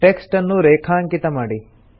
text ಅನ್ನು ರೇಖಾಂಕಿತ ಮಾಡಿ